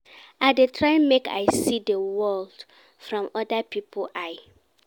I dey try make I see di world from oda pipo eye.